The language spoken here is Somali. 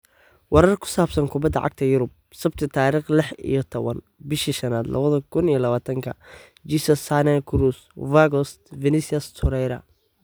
Warar ku saabsan kubadda cagta Yurub Sabti tarikh lix iyo tawan bishi shanad lawadha kun iyo lawatanka: Jesus, Sane, Kroos, Weghorst, Vinicius, Torreira